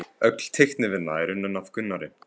Öll teiknivinna er unnin af Gunnari